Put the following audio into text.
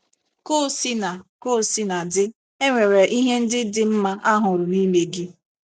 Ka o sina Ka o sina dị, e nwere ihe ndị dị mma a hụrụ n’ime gị. ”